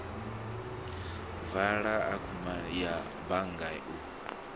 vula akhaunthu ya bannga u